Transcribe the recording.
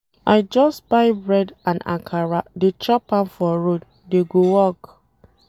I just buy bread and akara dey chop am for road dey go work.